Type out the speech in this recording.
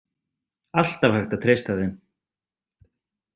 Alltaf hægt að treysta þeim.